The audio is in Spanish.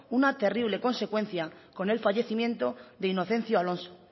una terrible consecuencia con el fallecimiento de inocencio alonso